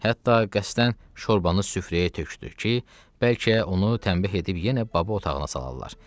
Hətta qəsdən şorbanı süfrəyə tökdü ki, bəlkə onu tənbih edib yenə baba otağına salarlar.